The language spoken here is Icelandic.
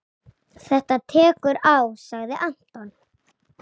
Þetta tekur á sagði Anton.